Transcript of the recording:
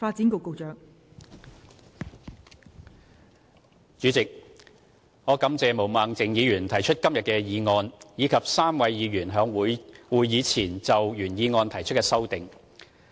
代理主席，我感謝毛孟靜議員提出今天的議案，以及3位議員在會議前就原議案提出的修正案。